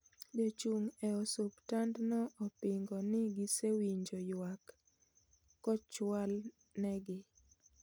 Jochung' e osuptandno opingo ni gisewinjo yuak kochwal negi